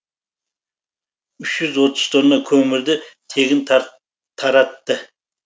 үш жүз отыз тонна көмірді тегін таратты